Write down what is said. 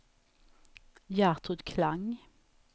Gertrud Klang